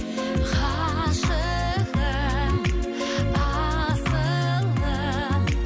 ғашығым асылым